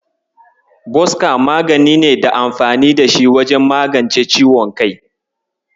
Boska magani ne da amfani da shi wajen magance ciwon kai.